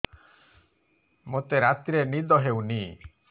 ମୋତେ ରାତିରେ ନିଦ ହେଉନି